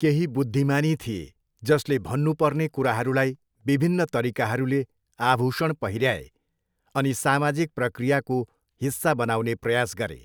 केही बुद्धिमानी थिए जसले भन्नुपर्ने कुराहरूलाई विभिन्न तरिकाहरूले आभूषण पहिऱ्याए अनि सामाजिक प्रक्रियाको हिस्सा बनाउने प्रयास गरे।